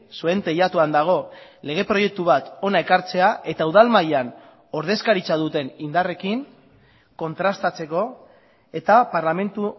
zuen teilatuan dago lege proiektu bat hona ekartzea eta udal mailan ordezkaritza duten indarrekin kontrastatzeko eta parlamentu